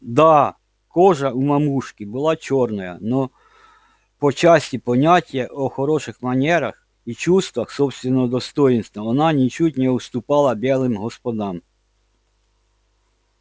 да кожа у мамушки была чёрная но по части понятия о хороших манерах и чувствах собственного достоинства она ничуть не уступала белым господам